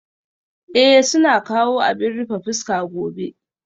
Ee, suna kawo abin rufe fuska gobe